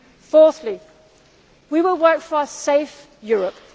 Fourthly, we will work for a safe Europe.